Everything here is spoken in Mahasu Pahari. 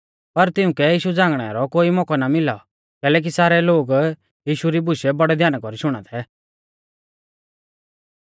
पर तिउंकै यीशु झ़ांगणै रौ कोई मौकौ ना मिलौ कैलैकि सारै लोग यीशु री बुशै बौड़ै ध्याना कौरी शुणा थै